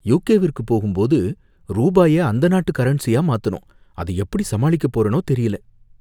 யுகேவிற்கு போகும்போது ரூபாய அந்த நாட்டு கரன்சியா மாத்தனும், அத எப்படி சமாளிக்கப் போறேனோ தெரியல.